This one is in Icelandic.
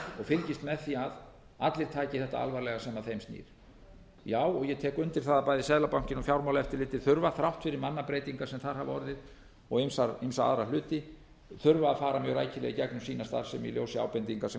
fylgist með því að allir taki þetta alvarlega sem að þeim snýr já og ég tek undir það að bæði seðlabankinn og fjármálaeftirlitið þurfa þrátt fyrir mannabreytingar sem þar hafa orðið og ýmsa aðra hluti þurfa að fara mjög rækilega í gegnum sína starfsemi í ljósi ábendinga sem